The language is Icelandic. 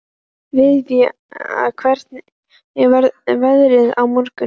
Viðja, hvernig verður veðrið á morgun?